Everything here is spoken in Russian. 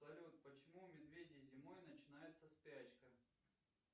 салют почему у медведей зимой начинается спячка